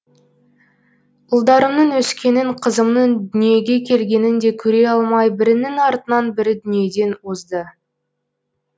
ұлдарымның өскенін қызымның дүниеге келгенін де көре алмай бірінің артынан бірі дүниеден озды